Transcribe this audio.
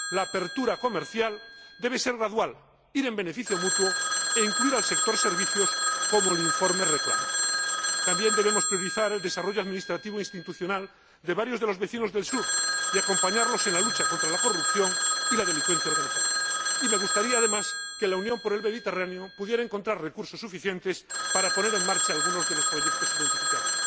La apertura comercial debe ser gradual, ir en beneficio mutuo e incluir al sector servicios, como el informe reclama. También debemos priorizar el desarrollo administrativo e institucional de varios de los vecinos del Sur y acompañarlos en la lucha contra la corrupción y la delincuencia organizada, y me gustaría, además, que la Unión para el Mediterráneo pudiera encontrar recursos suficientes para poner en marcha algunos de los proyectos identificados.